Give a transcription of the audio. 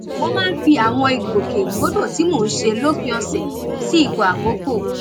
mo máa ń fi àwọn ìgbòkègbodò tí mò ń ṣe lópin ọ̀sẹ̀ sí ipò àkọ́kọ́